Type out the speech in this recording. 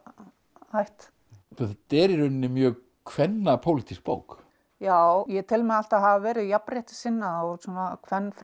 ætt þetta er í rauninni mjög bók já ég tel mig alltaf hafa verið jafnréttissinna og svona